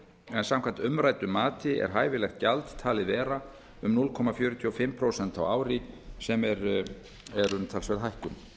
en samkvæmt umræddu mati er hæfilegt gjald talið vera um núll komma fjörutíu og fimm prósent á ári sem er umtalsverð hækkun